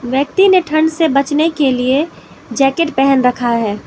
व्यक्ति ने ठंड से बचने के लिए जैकेट पहन रखा है।